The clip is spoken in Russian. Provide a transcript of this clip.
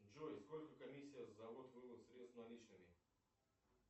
джой сколько комиссия за ввод вывод средств наличными